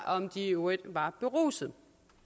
om de i øvrigt var berusede